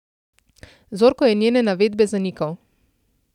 Zorko je njene navedbe zanikal.